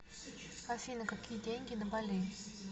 афина какие деньги на бали